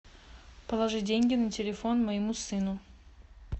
положи деньги на телефон моему сыну